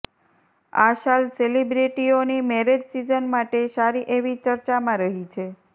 આ સાલ સેલિબ્રિટીઓની મેરેજ સીઝન માટે સારી એવી ચર્ચામાં રહી છે